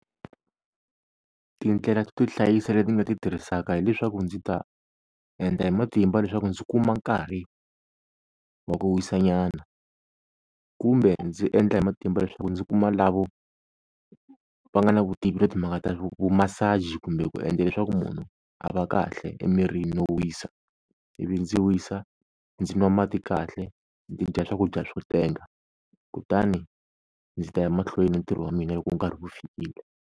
Tindlela to hlayisa leti nga ti tirhisaka hileswaku ndzi ta endla hi matimba leswaku ndzi kuma nkarhi wa ku wisa nyana, kumbe ndzi endla hi matimba leswaku ndzi kuma lavo va nga na vutivi na timhaka ta vu ku massage kumbe ku endla leswaku munhu a va kahle emirini no wisa, ivi ndzi wisa ndzi nwa mati kahle ndzi dya swakudya swo tenga kutani ndzi ta ya mahlweni ni ntirho wa mina loko nkarhi wu fikile.